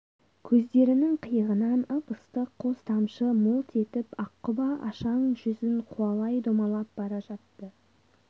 көздерінің қиығынан ып-ыстық қос тамшы мөлт етіп аққұба ашаң жүзін қуалай домалап бара жатты